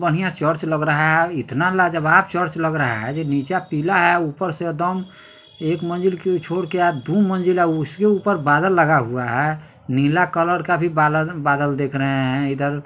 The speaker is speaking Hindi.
बढ़िया चर्च लग रहा है इतना लाजवाब चर्च लग रहा है नीचा पीला है ऊपर से एकदम एक मंजिल को छोड के आ दु मंजिला अ इसके ऊपर बादल लगा हुआ है नीला कलर का भी बालद बादल देख रहे है इधर --